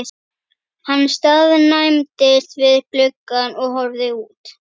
Hann staðnæmdist við gluggann og horfði út.